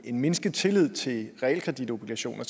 en mindsket tillid til realkreditobligationer